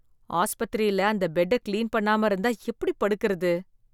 ஆஸ்பத்திரியில அந்த பெட்ட கிளீன் பண்ணாம இருந்தா, எப்டி படுக்கறது?